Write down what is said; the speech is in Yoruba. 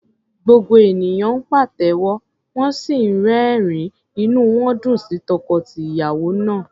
Gbogbo ènìyàn ń pàtẹ́wọ́, wọ́n sì ń rẹ́rìn-ín, inú wọn dùn sí tọkọ-tìyàwó náà.